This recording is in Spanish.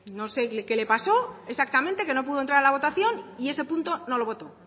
no sé qué le pasó exactamente que no pudo entrar a la votación y ese punto no lo votó